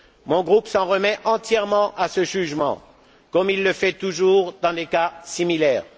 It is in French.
Mon groupe s'en remet entièrement à ce jugement comme il le fait toujours dans des cas similaires.